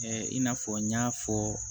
i n'a fɔ n y'a fɔ